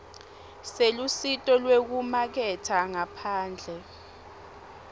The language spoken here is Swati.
selusito lwekumaketha ngaphandle